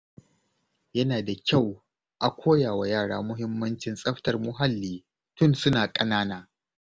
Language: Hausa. Yana da kyau a koya wa yara muhimmancin tsaftar muhalli tun suna ƙanana.